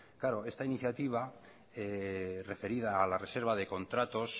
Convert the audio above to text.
claro esta iniciativa referida a la reserva de contratos